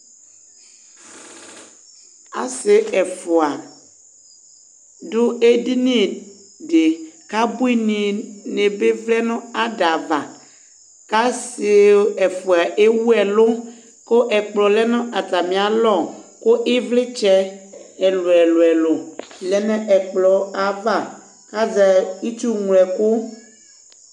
Asi ɛfʋa adu edini di, kʋ ebuini nɩ bɩ avlɛ ada ava Kʋ asi ɛfʋa ewu ɛlʋ, kʋ ɛkplɔ lɛ nʋ atami alɔ, kʋ ivlitsɛ ɛlʋ ɛlʋ ɛlʋ lɛ nʋ ɛkplɔ yɛ ava, kʋ azɛ itsuŋlo ɛkʋ